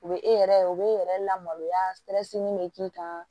U bɛ e yɛrɛ u bɛ yɛrɛ lamaloya bɛ k'i kan